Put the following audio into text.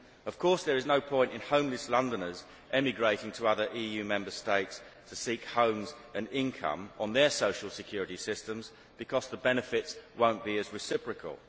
Of course there is no point in homeless Londoners emigrating to other EU Member States to seek homes and income on their social security systems because the benefits will not be as reciprocal.